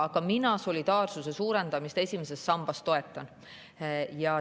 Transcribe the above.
Aga mina solidaarsuse suurendamist esimeses sambas toetan.